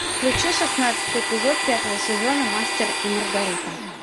включи шестнадцатый эпизод пятого сезона мастер и маргарита